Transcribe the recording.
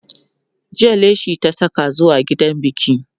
jiya leshi ta Saka zuwa gidan biki